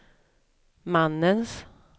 mannens